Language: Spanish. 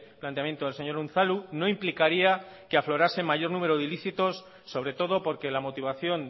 planteamiento del señor unzalu no implicaría que aflorase mayor número de ilícitos sobre todo porque la motivación